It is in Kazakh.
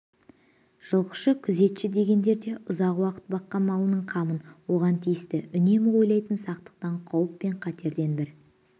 жылқышы күзетші дегендер де ұзақ уақыт баққан малының қамынан оған тиісті үнемі ойлайтын сақтықтан қауіп пен қатерден бір